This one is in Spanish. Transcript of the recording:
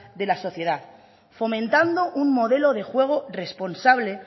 de la sociedad fomentando un modelo de juego responsable